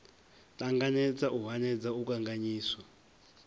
ṱanganedza u hanedza u kanganyisa